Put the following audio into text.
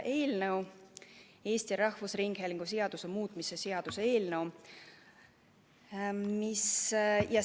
Annan üle Eesti Rahvusringhäälingu seaduse muutmise seaduse eelnõu.